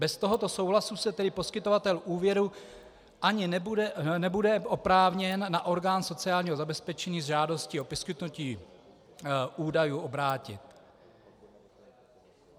Bez tohoto souhlasu se tedy poskytovatel úvěru ani nebude oprávněn na orgán sociálního zabezpečení s žádostí o poskytnutí údajů obrátit.